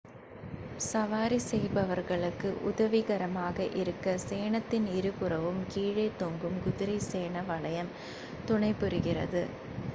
சவாரி செய்பவர்களுக்கு உதவிகரமாக இருக்க சேணத்தின் இருபுறமும் கீழே தொங்கும் குதிரை சேண வளையம் துணைபுரிகிறது